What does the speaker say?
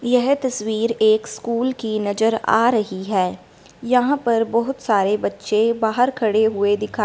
येह तस्वीर एक स्कूल की नजर आ रही है यहां पर बहुत सारे बच्चे बाहर खड़े हुए दिखा--